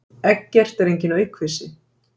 Eggert er enginn aukvisi.